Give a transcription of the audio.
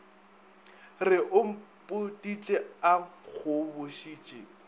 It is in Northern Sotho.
re o mpoditše a nkgobošitše